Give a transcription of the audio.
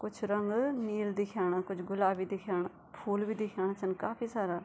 कुछ रंग नील दिखेणा कुछ गुलाबी दिखेणा फूल भी दिखेणा छन काफी सारा।